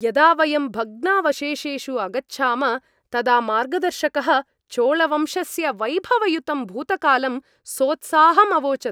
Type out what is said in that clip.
यदा वयं भग्नावशेषेषु अगच्छाम तदा मार्गदर्शकः चोळवंशस्य वैभवयुतं भूतकालं सोत्साहम् अवोचत्।